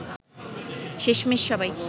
শেষমেষ সবাই